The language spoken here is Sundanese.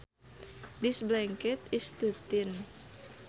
This blanket is too thin